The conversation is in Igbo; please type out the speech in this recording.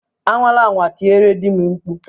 Anwala anwa tiere di m mkpu!